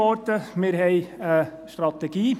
Wir haben eine Strategie.